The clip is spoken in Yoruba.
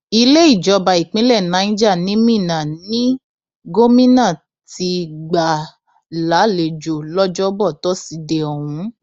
ilé ìjọba ìpínlẹ niger ni minna ní gómìnà ti gbà á lálejò lọjọbọ tọsídẹẹ ọhún